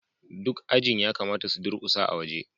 duk ajin ya kamata su durƙusa a waje